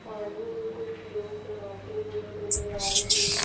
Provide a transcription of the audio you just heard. पानी में कुछ लोग नहाते हुए नजर आ रहे हैं।